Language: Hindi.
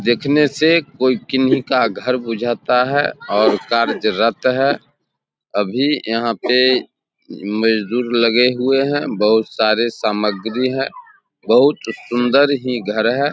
दिखने से कोई किन्ही का घर बुझाता है और कार्यरत है अभी यहां पे मजदूर लगे हुए है बहुत सारी सामग्री है बहुत सुंदर ही घर है।